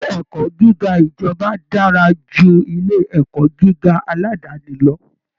Ilé ẹ̀kọ́ gíga ìjọba dára ju ilé ẹ̀kọ́ gíga aládàáni lọ